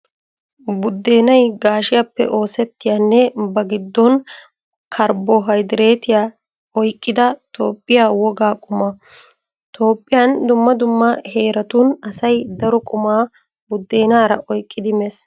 Buddeenay gaashiyaappe oosettiyanne ba giddon karbohaydireetiyaa oyqqida Toophphiya wogaa quma. Toophphiyan dumma dumma heeratun asay daro qumaa buddenaara oyqqidi mees.